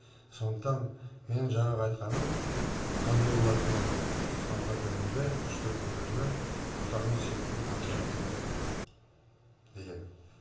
сондықтан менің жаңағы айтқаным қандай болады дегенде сонда білімді үш тілді игерген отанын сүйетін патриот керек деген